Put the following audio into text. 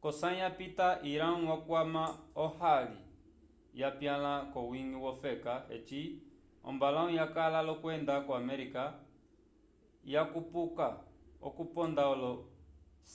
k'osãyi yapita irão yakwama ohali yapyãla k'owiñgi wofeka eci ombalãwu yakala l'okwenda ko-arménia yakupuka okuponda olo